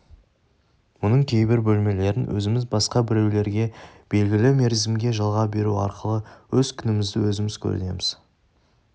мұның кейбір бөлмелерін өзіміз басқа біреулерге белгілі мерзімге жалға беру арқылы өз күнімізді өзіміз көрудеміз